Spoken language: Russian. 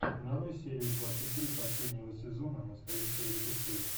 нарой серию двадцать три последнего сезона настоящего детектива